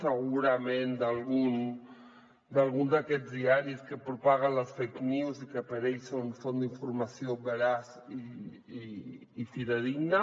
segurament d’algun d’aquests diaris que propaguen les fake news i que per ells són font d’informació veraç i fidedigna